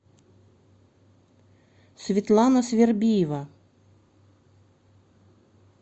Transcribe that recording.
светлана свербиева